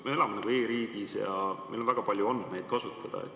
Me elame e-riigis ja meil on väga palju andmeid kasutada.